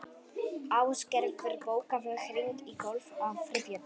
Æsgerður, bókaðu hring í golf á þriðjudaginn.